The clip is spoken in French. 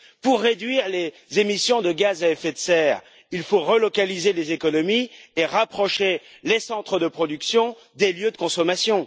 Pour réduire les émissions de gaz à effet de serre, il faut relocaliser les économies et rapprocher les centres de production des lieux de consommation.